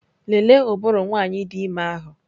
Lelee ụbụrụ nwanyị dị ime ahụ!